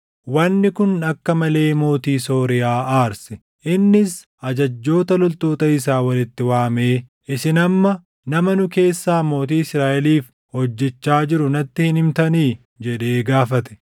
Wanni kun akka malee mootii Sooriyaa aarse. Innis ajajjoota loltoota isaa walitti waamee, “Isin amma nama nu keessaa mootii Israaʼeliif hojjechaa jiru natti hin himtanii?” jedhee gaafate.